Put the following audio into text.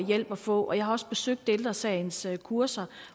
hjælp at få jeg har også besøgt ældre sagens kurser